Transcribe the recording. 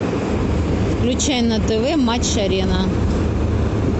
включай на тв матч арена